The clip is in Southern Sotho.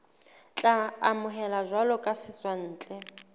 tla amohelwa jwalo ka setswantle